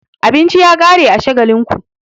Abinci ya ƙare a Shagalinku.